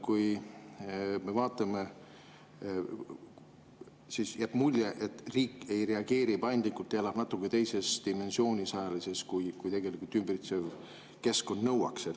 Kui me vaatame, siis jääb mulje, et riik ei reageeri paindlikult ja elab natuke teises ajalises dimensioonis, kui tegelikult ümbritsev keskkond nõuaks.